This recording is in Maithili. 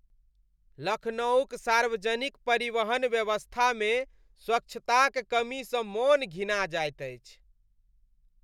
लखनऊक सार्वजनिक परिवहन व्यवस्थामे स्वच्छताक कमीसँ मन घिना जाइत अछि।